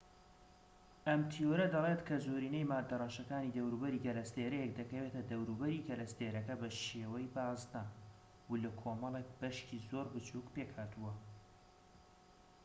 ئەم تیۆرە دەڵێت کە زۆرینەی مادە ڕەشەکانی دەوروبەری گەلەستێرەیەک دەکەوێتە دەوروبەری گەلەستێرەکە بە شیوەی بازنە و لە کۆمەڵێک بەشی زۆر بچووك پێکهاتووە